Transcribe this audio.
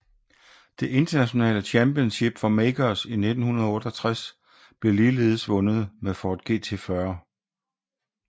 Det internationale Championship for Makers i 1968 blev ligeledes vundet med Ford GT40